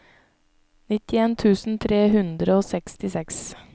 nittien tusen tre hundre og sekstiseks